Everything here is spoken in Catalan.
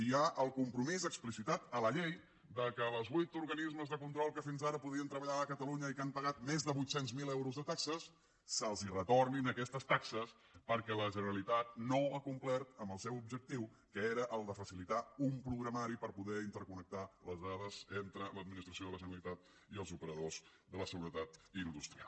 hi ha el compromís explicitat a la llei que als vuit organismes de control que fins ara podien treballar a catalunya i que han pagat més de vuit cents miler euros de taxes se’ls retornin aquestes taxes perquè la generalitat no ha complert amb el seu objectiu que era el de facilitar un programari per poder interconnectar les dades entre l’administració de la generalitat i els operadors de la seguretat industrial